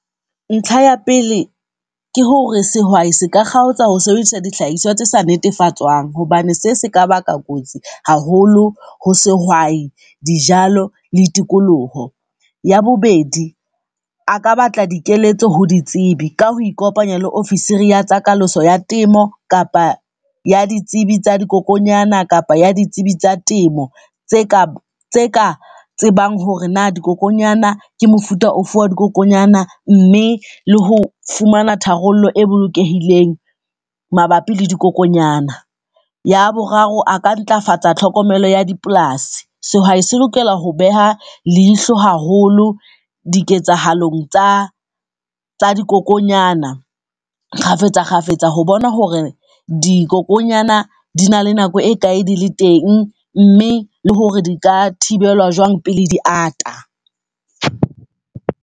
Ntlha ya pele ke hore sehwai se ka kgaotsa ho sebedisa dihlahiswa tse sa netefatswang hobane se se ka baka kotsi haholo ho sehwai, dijalo, le tikoloho. Ya bobedi a ka batla dikeletso ho ditsebi ka ho ikopanya le ofisiri ya tsa kalaso ya temo kapa ya ditsebi tsa dikokonyana kapa ya ditsebi tsa temo, tse ka tse ka tsebang hore na dikokonyana ke mofuta ofe wa dikokonyana. Mme le ho fumana tharollo e bolokehileng mabapi le dikokonyana. Ya boraro a ka ntlafatsa tlhokomelo ya dipolasi. Sehwai se lokela ho beha leihlo haholo diketsahalong tsa tsa dikokonyana kgafetsa kgafetsa ho bona hore dikokonyana di na le nako e kae di le teng, mme le hore di ka thibelwa jwang pele di ata.